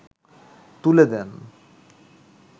তুলে দেন